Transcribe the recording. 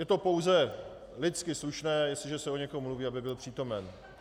Je to pouze lidsky slušné, jestliže se o někom mluví, aby byl přítomen.